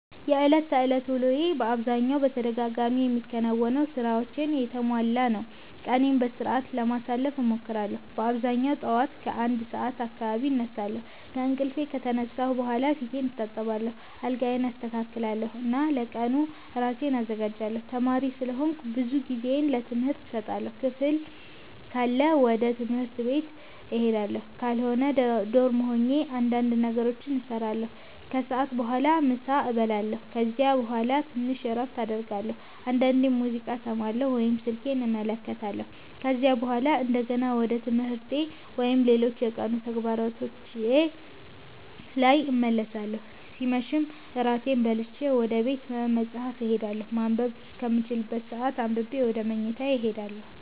የዕለት ተዕለት ውሎዬ በአብዛኛው በተደጋጋሚ የሚከናወኑ ሥራዎች የተሞላ ነው። ቀኔን በሥርዓት ለማሳለፍ እሞክራለሁ በአብዛኛው ጠዋት ከ1 ሰዓት አካባቢ እነሳለሁ። ከእንቅልፌ ከተነሳሁ በኋላ ፊቴን እታጠባለሁ፣ አልጋዬን አስተካክላለሁ እና ለቀኑ ራሴን አዘጋጃለሁ። ተማሪ ስለሆንኩ ብዙ ጊዜዬን ለትምህርት እሰጣለሁ። ክፍል ካለ ወደ ትምህርት ቤት እሄዳለሁ፣ ካልሆነ ዶርሜ ሆኜ እንዳንድ ነገሮችን እሰራለሁ። ከሰዓት በኋላ ምሳ እበላለሁ ከዚያ በኋላ ትንሽ እረፍት አደርጋለሁ፣ አንዳንዴም ሙዚቃ እሰማለሁ ወይም ስልኬን እመለከታለሁ። ከዚያ በኋላ እንደገና ወደ ትምህርቴ ወይም ሌሎች የቀኑ ተግባሮቼ ላይ እመለሳለሁ ሲመሽም እራቴን በልቼ ወደ ቤተ መፃህፍት እሄዳለሁ ማንበብ እስከምችልበት ሰአት አንብቤ ወደ መኝታዬ እሄዳለሁ።